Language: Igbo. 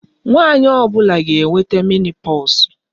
Nwanyị ọ bụla ga-enweta menopause